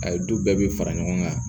A ye du bɛɛ bɛ fara ɲɔgɔn kan